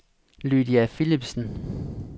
Lydia Philipsen